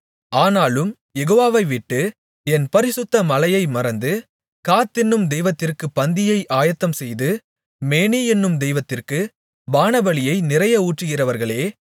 ஆனாலும் யெகோவாவை விட்டு என் பரிசுத்த மலையை மறந்து காத் என்னும் தெய்வத்திற்குப் பந்தியை ஆயத்தம்செய்து மேனி என்னும் தெய்வத்திற்குப் பானபலியை நிறைய ஊற்றுகிறவர்களே